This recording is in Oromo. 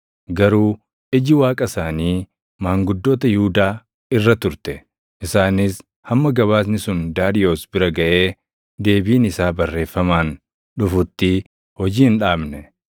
Garuu iji Waaqa isaanii maanguddoota Yihuudaa irra turte; isaanis hamma gabaasni sun Daariyoos bira gaʼee deebiin isaa barreeffamaan dhufutti hojii hin dhaabne.